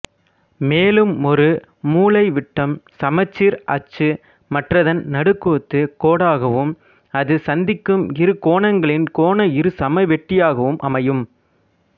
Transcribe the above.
மேலும் ஒரு மூலைவிட்டம் சமச்சீர் அச்சு மற்றதன் நடுக்குத்துக் கோடாகவும் அது சந்திக்கும் இரு கோணங்களின் கோண இருசமவெட்டியாகவும் அமையும்